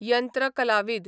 यंत्रकलावीद